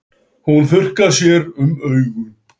Hún þurrkar sér um augun.